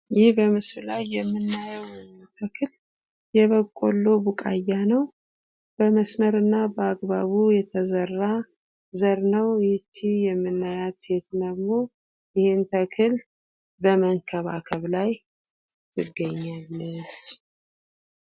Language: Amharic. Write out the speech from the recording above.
ይህ በምስሉ የምናየው ተክል የበቆሎ ቡቃያ ነው በመስመሩ በአግባብ የተዘራ ዘር ነው ይህች የምናያት ሴት ደግሞ ይህን ተክል በመንከባከብ ላይ ትገኛለች።